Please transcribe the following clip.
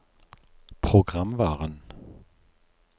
programvaren